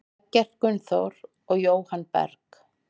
Eggert Gunnþór og Jóhann Berg.